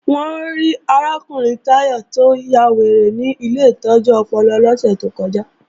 Wọ́n rí arákùnrin Táyọ̀ tó ya wèrè ní ilé ìtọ́jú ọpọlọ lọ́sẹ̀ tó kọjá